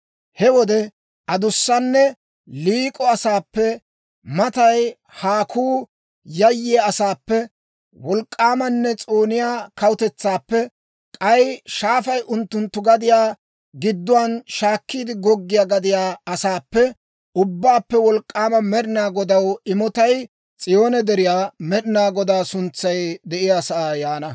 He wode adussanne liik'o asaappe, matay haakuu yayyiyaa asaappe, wolk'k'aamanne s'ooniyaa kawutetsaappe, k'ay shaafay unttunttu gadiyaa gidduwaan shaakkiide goggiyaa gadiyaa asaappe, Ubbaappe Wolk'k'aama Med'inaa Godaw imotay S'iyoone Deriyaa, Med'inaa Godaa suntsay de'iyaa sa'aa yaana.